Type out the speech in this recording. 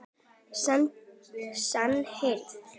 Senn heyrði